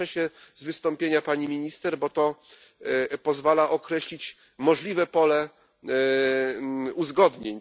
Cieszę się z wystąpienia pani minister, bo to pozwala określić możliwe pole uzgodnień.